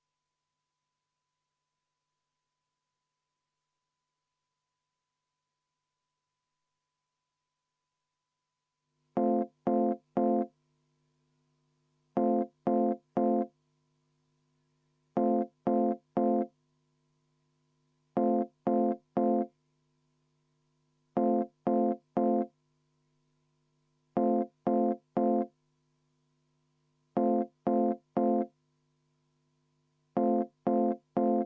Selle on esitanud Eesti Konservatiivse Rahvaerakonna fraktsioon, juhtivkomisjoni seisukoht on jätta see arvestamata.